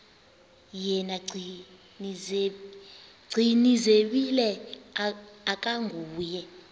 yena gcinizibele akanguye